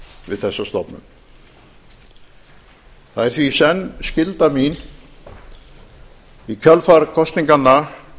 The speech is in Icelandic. við þessa stofnun það er því í senn skylda mín í kjölfar kosninganna